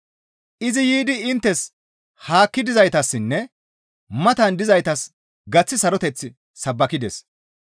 Izi yiidi inttes haakki dizaytassinne matan dizaytas gaththi saroteth sabbakides.